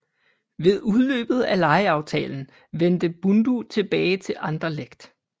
Ved udløbet af lejeaftalen vendte Bundu tilbage til Anderlecht